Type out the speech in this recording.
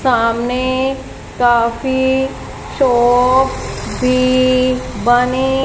सामने काफी शॉप्स भी बनी--